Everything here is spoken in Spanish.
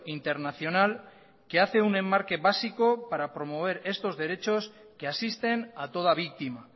internacional que hace un enmarque básico para promover estos derechos que asisten a toda víctima